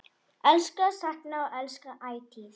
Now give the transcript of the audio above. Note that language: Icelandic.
Elska, sakna og elska ætíð.